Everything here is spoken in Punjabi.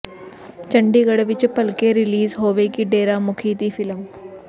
ਚੰਡੀਗਡ਼੍ਹ ਵਿੱਚ ਭਲਕੇ ਰਿਲੀਜ਼ ਹੋਵੇਗੀ ਡੇਰਾ ਮੁਖੀ ਦੀ ਫਿਲਮ